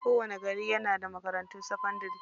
Kowani gari yana da makarantun sakadanrai.